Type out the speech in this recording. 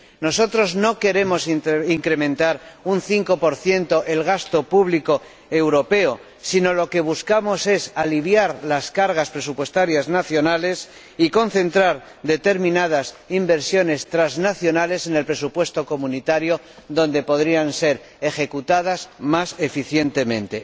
Nosotros no queremos incrementar un 5 el gasto público europeo, sino que buscamos aliviar las cargas presupuestarias nacionales y concentrar determinadas inversiones transnacionales en el presupuesto comunitario, donde podrían ser ejecutadas más eficientemente.